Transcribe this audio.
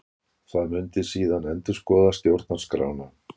Það muni síðan endurskoða stjórnarskrána